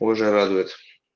позже радует